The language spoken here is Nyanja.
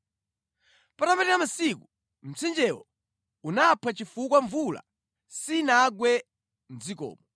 Patapita masiku, mtsinjewo unaphwa chifukwa mvula sinagwe mʼdzikomo.